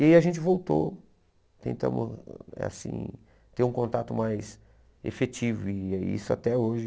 E aí a gente voltou, tentamos assim ter um contato mais efetivo e é isso até hoje.